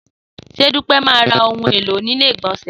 Sé Dúpẹ́ má ra ohun èlò ilé ìgbònsè